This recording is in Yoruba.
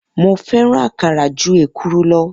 Mo fẹ́ràn àkàrà ju èkuru lọ